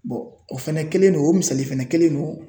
o fɛnɛ kɛlen no o misali fɛnɛ kelen don.